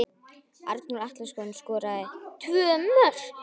Arnór Atlason skoraði tvö mörk.